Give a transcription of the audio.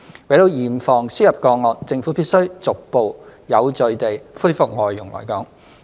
為了嚴防輸入個案，政府必須逐步有序地恢復外傭來港。